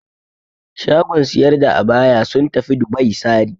Shagon siyar da abaya sun tafi Dubai sari.